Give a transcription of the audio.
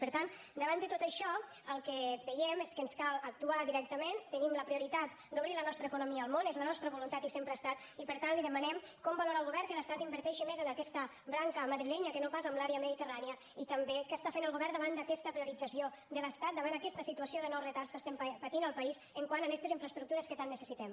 per tant davant de tot això el que veiem és que ens cal actuar directament tenim la prioritat d’obrir la nostra economia al món és la nostra voluntat i sempre ho ha estat i per tant li demanem com valora el govern que l’estat inverteixi més en aquesta branca madrilenya que no pas en l’àrea mediterrània i també què està fent el govern davant d’aquesta priorització de l’estat davant aquesta situació de nous retards que estem patint al país quant a estes infraestructures que tant necessitem